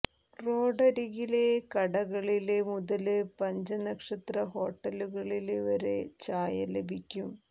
റോഡരികിലെ കടകളില് മുതല് പഞ്ച നക്ഷത്ര ഹോട്ടലുകളില് വരെ ചായ ലഭിക്കും